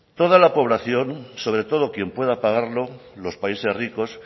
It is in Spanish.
toda la población sobre todo quien pueda pagarlo los países ricos